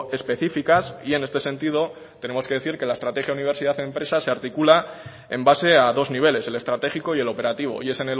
específicas y en este sentido tenemos que decir que la estrategia universidad empresa se articula en base a dos niveles el estratégico y el operativo y es